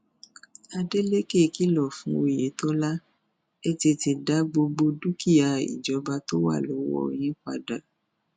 adélèkẹ kìlọ fún òyetọ ẹ tètè dá gbogbo dúkìá ìjọba tó wà lọwọ yín padà